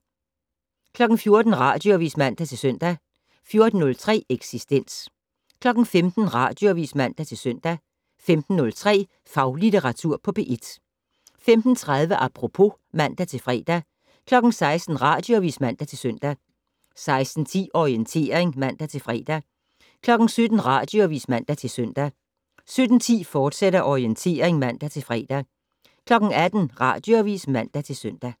14:00: Radioavis (man-søn) 14:03: Eksistens 15:00: Radioavis (man-søn) 15:03: Faglitteratur på P1 15:30: Apropos (man-fre) 16:00: Radioavis (man-søn) 16:10: Orientering (man-fre) 17:00: Radioavis (man-søn) 17:10: Orientering, fortsat (man-fre) 18:00: Radioavis (man-søn)